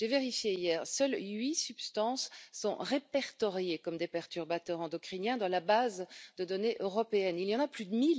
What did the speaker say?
J'ai vérifié hier seules huit substances sont répertoriées comme des perturbateurs endocriniens dans la base de données européenne. Il y en a plus